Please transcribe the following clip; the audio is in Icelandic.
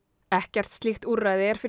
ekkert slíkt úrræði er fyrir